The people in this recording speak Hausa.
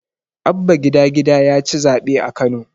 Abba gida-gida yaci zaɓe a Kano.